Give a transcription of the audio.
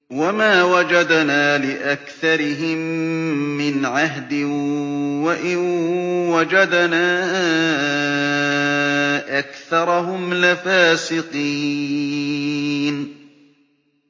وَمَا وَجَدْنَا لِأَكْثَرِهِم مِّنْ عَهْدٍ ۖ وَإِن وَجَدْنَا أَكْثَرَهُمْ لَفَاسِقِينَ